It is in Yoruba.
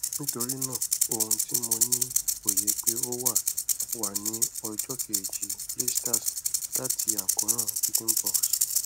nitorinaa ohun ti mo ni oye pe o wa wa ni ọjọ keji blisters lati akoran chickenpox